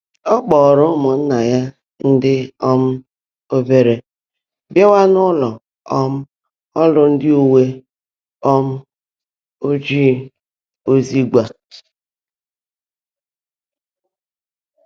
Ọ́ kpọ́ọ́rọ́ ụ́mụ́nnaá yá ndị́ um óbèèré bịááwá n’ụ́lọ́ um ọ́rụ́ ndị́ úwé um ójíí ózígwá.